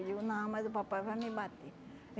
E eu, não, mas o papai vai me bater.